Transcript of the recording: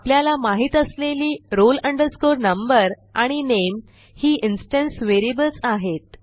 आपल्याला माहित असलेली roll number आणि नामे ही इन्स्टन्स व्हेरिएबल्स आहेत